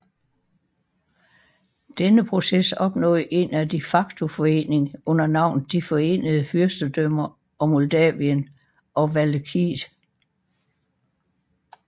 Denne proces opnåede en de facto forening under navnet De Forenede Fyrstendømmer Moldavien og Valakiet